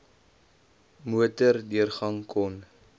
motor deurgang kon